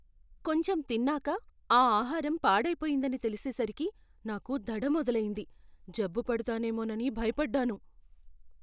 కొంచెం తిన్నాక ఆ ఆహారం పాడైపోయిందని తెలిసేసరికి నాకు దడ మొదలయ్యింది. జబ్బు పడతానేమోనని భయపడ్డాను.